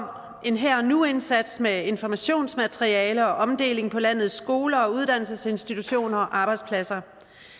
en her og nu indsats med informationsmateriale og omdeling på landets skoler og uddannelsesinstitutioner og arbejdspladser